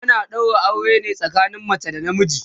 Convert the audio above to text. ana ɗaura aure ne tsakanin mace da na miji